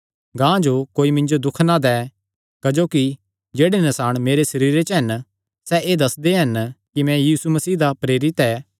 गांह जो कोई मिन्जो दुख ना दैं क्जोकि जेह्ड़े नसाण मेरे सरीरे च हन सैह़ एह़ दस्सदे हन कि मैं यीशु मसीह दा प्रेरित ऐ